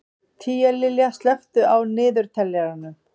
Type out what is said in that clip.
Tíalilja, slökktu á niðurteljaranum.